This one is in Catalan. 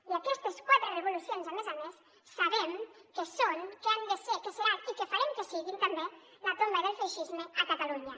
i aquestes quatre revolucions a més a més sabem que són que han de ser que seran i que farem que siguin també la tomba del feixisme a catalunya